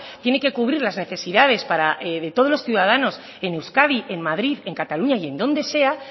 tiene que cubrir las necesidades de todos los ciudadanos en euskadi en madrid en cataluña y en donde sea